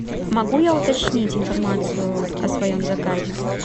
могу я уточнить информацию о своем заказе